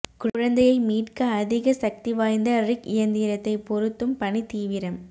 குழந்தையை மீட்க அதிக சக்திவாய்ந்த ரிக் இயந்திரத்தை பொருத்தும் பணி தீவிரம்